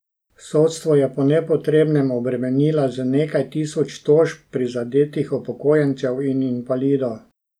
Sodstvo je po nepotrebnem obremenila z nekaj tisoč tožb prizadetih upokojencev in invalidov.